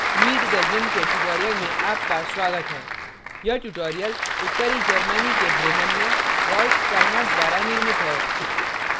meet the gimp के tutorial में आपका स्वागत है यह tutorial उत्तरी germany के bremen में rolf steinort द्वारा निर्मित है